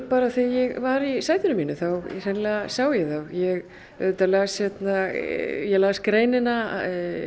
bara þegar ég var í sætinu mínu þá hreinlega sá ég þá ég las ég las greinina